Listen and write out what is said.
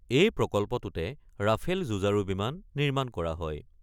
এই প্ৰকল্পটোতে ৰাফেল যুঁজাৰু বিমান নিৰ্মাণ কৰা হয়।